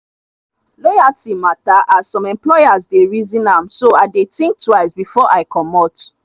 loyalty matter as some employers dey reason am so i dey think twice before i commot.